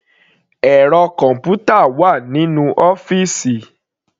Ẹ̀rọ kọ̀npútà wà nínú ọ́fìsì.